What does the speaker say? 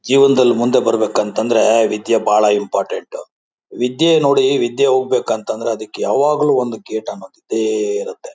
ಜೀವನದಲ್ಲಿ ಮುಂದೆ ಬರಬೇಕು ಅಂತಂದ್ರ ವಿದ್ಯೆ ಬಹಳ ಇಂಪೋರ್ಟೆನ್ಟ್ . ವಿದ್ಯೆ ನೋಡಿ ವಿದ್ಯೆ ಹೋಗ್ಬೇಕು ಅಂತಂದ್ರ ಅದಕ್ಕ ಯಾವಾಗ್ಲೂ ಒಂದ್ ಗೇಟ್ ಅನ್ನೋದು ಇದ್ದೇ ಇರುತ್ತೆ.